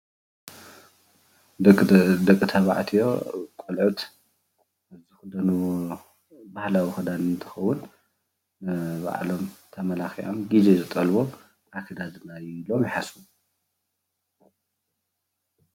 ደቂ ተባዕትዮ ቆልዑት ዝክደንዎ ባህላዊ ክዳን እንትከውን ንባዕሎም ተማለኪዖም ግዜ ዝጠልቦ ክዳን እዩ ኢሎም ይሓስቡ፡፡